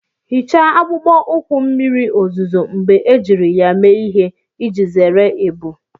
Hichaa akpụkpọ ụkwụ mmiri ozuzo mgbe ejiri ya mee ihe iji zere ebu.